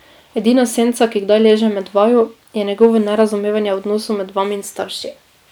Edina senca, ki kdaj leže med vaju, je njegovo nerazumevanje odnosov med vami in starši.